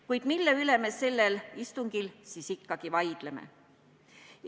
Kuid mille üle me sellel istungil siis ikkagi vaidleme?